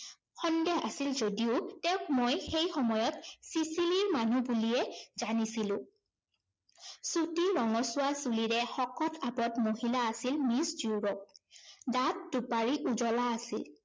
সন্দেহ আছিল যদিও তেওঁক সেই সেই সময়ত ছিছিলিৰ মানুহ বুলিয়ে জানিছিলো। চুটি ৰঙচুৱা চুলিৰে শকত আৱত মহিলা আছিল মিছ ড্য়ুৰপ। দাত দুপাৰি উজলা আছিল।